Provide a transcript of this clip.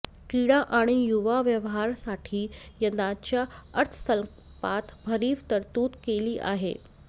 क्रीडा आणि युवा व्यवहारासाठी यंदाच्या अर्थसंकल्पात भरीव तरतूद केली आहे